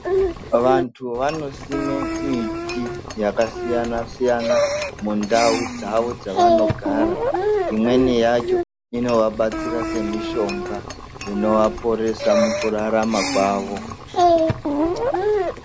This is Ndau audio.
Vantu vanosima miti yakasiyana siyana mundau dzawo dzaanogara imweni yacho inoabetsera semishonga inoaporesa mukurarama kwawo.